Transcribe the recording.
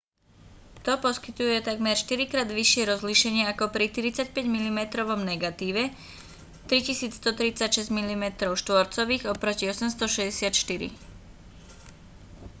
to poskytuje takmer štyrikrát vyššie rozlíšenie ako pri 35-milimetrovom negatíve 3136 mm2 oproti 864